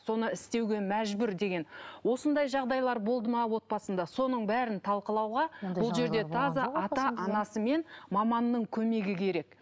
соны істеуге мәжбүр деген осындай жағдайлар болды ма отбасында соның бәрін талқылауға бұл жерде таза ата анасы мен маманның көмегі керек